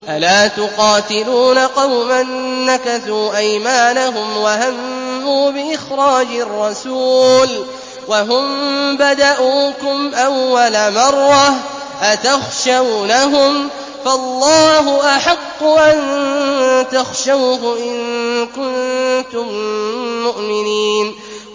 أَلَا تُقَاتِلُونَ قَوْمًا نَّكَثُوا أَيْمَانَهُمْ وَهَمُّوا بِإِخْرَاجِ الرَّسُولِ وَهُم بَدَءُوكُمْ أَوَّلَ مَرَّةٍ ۚ أَتَخْشَوْنَهُمْ ۚ فَاللَّهُ أَحَقُّ أَن تَخْشَوْهُ إِن كُنتُم مُّؤْمِنِينَ